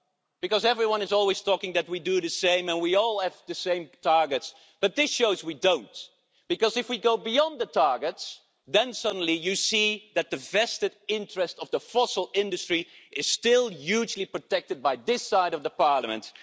Because everyone is always saying that we do the same and we all have the same targets, but this shows we don't, because if we go beyond the targets then suddenly you see that the vested interest of the fossil industry is still hugely protected by this side of Parliament.